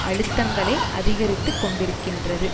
அழுத்தங்களை அதிகரித்துக்கொண்டிருக்கின்றது